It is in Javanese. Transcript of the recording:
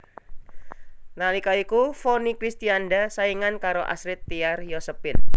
Nalika iku Vonny Kristianda saingan karo Astrid Tiar Yosephine